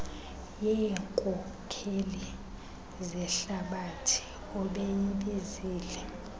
yeenkokeli zehlabathi obeyibizile